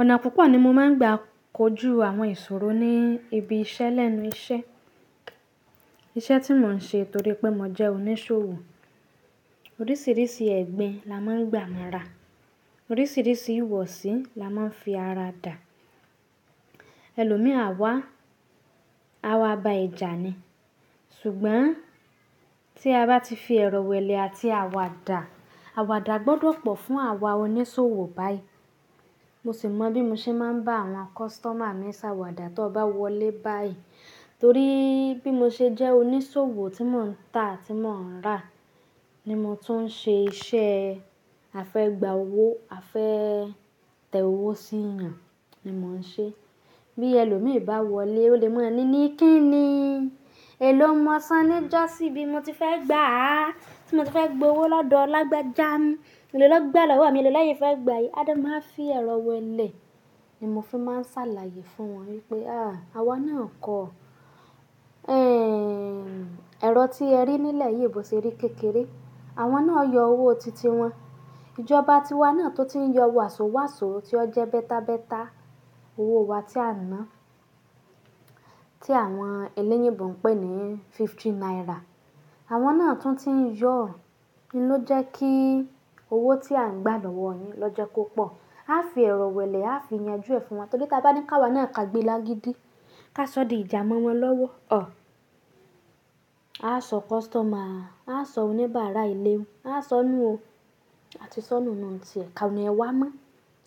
Ọ̀nà púpọ̀ ni mo máa ń gbà kojú àwọn ìṣòro ní ibi iṣẹ́ lẹ́nu iṣẹ́. Iṣẹ́ tí mò ń ṣe torí pé mò jẹ́ oníṣòwò. Oríṣiríṣi ẹgbin la máa ń gbà mọ́ra, oríṣiríṣi ìwọ̀sí la máa ń fi ara dà. Ẹlòmíì á wá, a wá ba ẹ̀jà ni. Ṣùgbọ́n tí a bá ti fi ẹrọ̀ wẹlẹ̀ àti àwàdà, àwàdà gbọ́dọ̀ pọ̀ fún àwa oníṣòwò báyìí. Mo sì mọ bí mo ṣe máa ń bá àwọn customer mi ṣàwàdà tó bá wọlé báyìí, torí bí mo ṣe jẹ́ oníṣòwò tí mò ń tà àti mò ń rà ní mo tún ń ṣe iṣẹ́ a fẹ́gba owó, afẹ́ tẹ owó sí eyan ni mò ń ṣe. Bí ẹlòmíì bá wọlé, ó lè mọ̀ ni ní kí ni èlò mo san níjọ́ sí bí mo ti fẹ́ gbà á, tí mo ti fẹ́ gba owó lọ́dọ̀ ọ lágbẹ́ja, èló lọ́ gba lọ́wọ́ mi, èló lẹ́yìn fẹ́ gba yìí. A máa ń fi ẹrọ̀ wẹlẹ̀ ni mo fi máa ń ṣàlàyé fún wọn wípé à, àwa náà kọ ẹrọ̀ tí ẹ rí nílẹ̀ yìí bó ṣe rí kékeré. Àwọn náà yọ owó titi wọn. Ìjọba tiwa náà tó ti ń yọ wàsó wàsó tí ó jẹ́ bẹ́ta bẹ́ta owó wa tí a ná, tí àwọn elẹ́yinbò ń pè ní fifty naira. Àwọn náà tún ti ń yọ, ló jẹ́ kí owó tí a ń gbà lọ́wọ́ yín lọ́ jẹ́ kó pọ̀. A fi ẹrọ̀ wẹlẹ̀, a fi ìyanjú ẹ fún wọn torí tí a bá ní ká wọ́n náà ká gbe lágidí, ká sọ di ìjà mọ́ wọn lọ́wọ́, ọ̀! A sọ customer, a sọ oníbàárà ilé, a sọ nù u o àti sọ nù nù ti ẹ̀ kan ní wá mọ́,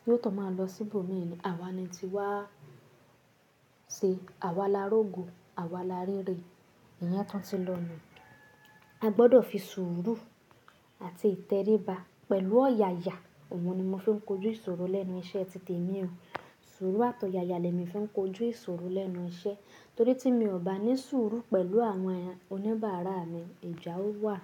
yóò tún máa lọ sí ibòmí ni. Àwa ni ti wá ṣe, àwa la rògo, àwa la ríre, ìyẹn tún ti lọ nu. A gbọ́dọ̀ fi sùúrù àti ìtẹríba pẹ̀lú ọ̀yàyà, òun ni mo fi ń kojú ìṣòro lẹ́nu iṣẹ́ titẹ̀ mi o. Sùúrù àtọ̀yàyà lẹ mi fi ń kojú ìṣòro lẹ́nu iṣẹ́ torí tí mi ò bá ní sùúrù pẹ̀lú àwọn oníbàárà mi, ìjà ó wà.